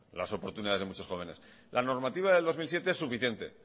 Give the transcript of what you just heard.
las oportunidades de muchos jóvenes la normativa del dos mil siete es suficiente